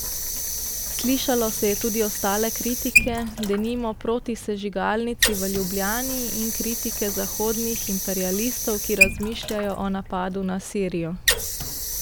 Slišalo se je tudi ostale kritike, denimo proti sežigalnici v Ljubljani in kritike zahodnih imperialistov, ki razmišljajo o napadu na Sirijo.